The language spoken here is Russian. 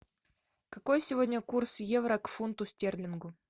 какой сегодня курс евро к фунту стерлингу